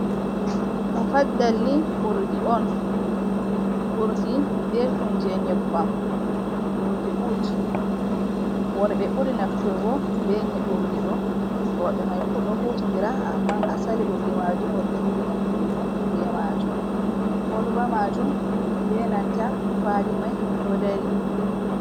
Mufaddal ni urdi on, urdi belɗum je nyebbam, urdi ut worɓe ɓuri nafturgo be urdiɗo roɓe mai fu ɗo huti ndira amma asali urdi majum worɓe buri nafturgo be majum, kolba majum be nanta kwali mai ɗo dari.